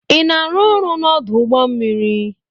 Ị na-arụ ọrụ n'ọdụ ụgbọ mmiri?